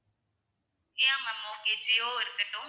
yeah ma'am okay Jio இருக்கட்டும்